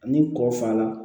Ni kɔ fanaa